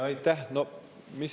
Aitäh!